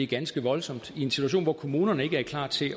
ganske voldsomt i en situation hvor kommunerne ikke er klar til